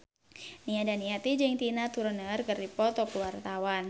Nia Daniati jeung Tina Turner keur dipoto ku wartawan